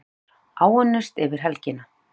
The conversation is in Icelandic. Fréttamaður:. áunnist yfir helgina?